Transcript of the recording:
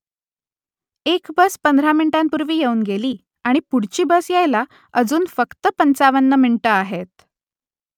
एक बस पंधरा मिनिटांपूर्वी येऊन गेली आणि पुढची बस यायला अजून फक्त पंचावन्न मिनिटं आहेत